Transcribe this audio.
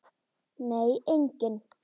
Nei, enginn.